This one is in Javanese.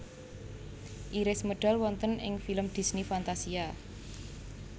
Iris medal wonten ing film Disney Fantasia